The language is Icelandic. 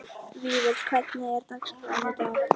Vífill, hvernig er dagskráin í dag?